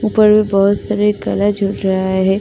ऊपर बहोत सारे झूल रहा है।